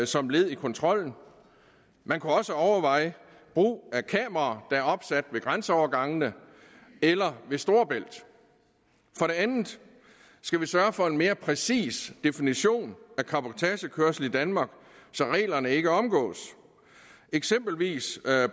som led i kontrollen man kunne også overveje brug af kameraer der er opsat ved grænseovergangene eller ved storebælt for det andet skal vi sørge for en mere præcis definition af cabotagekørsel i danmark så reglerne ikke omgås eksempelvis